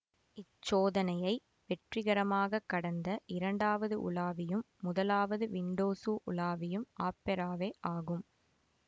இச்சோதனையை வெற்றிகரமாக கடந்த இரண்டாவது உலாவியும் முதலாவது விண்டோசு உலாவியும் ஆப்பெராவே ஆகும்